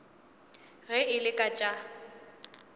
ge e le ka tša